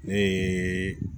Ne ye